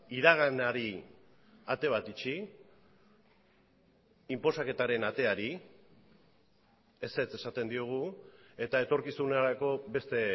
iraganari ate bat itxi inposaketaren ateari ezetz esaten diogu eta etorkizunerako beste